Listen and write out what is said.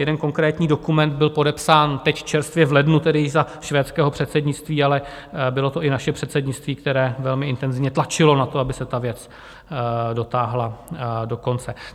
Jeden konkrétní dokument byl podepsán teď čerstvě v lednu již za švédského předsednictví, ale bylo to i naše předsednictví, které velmi intenzivně tlačilo na to, aby se ta věc dotáhla do konce.